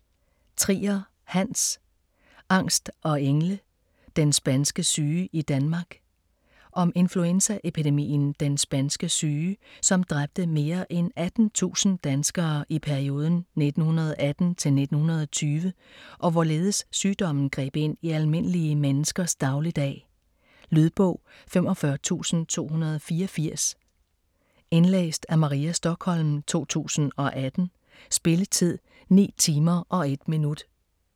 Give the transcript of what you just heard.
Trier, Hans: Angst og engle: den spanske syge i Danmark Om influenzaepidemien den spanske syge som dræbte mere end 18.000 danskere i perioden 1918-1920, og hvorledes sygdommen greb ind i almindelige menneskers dagligdag. Lydbog 45284 Indlæst af Maria Stokholm, 2018. Spilletid: 9 timer, 1 minut.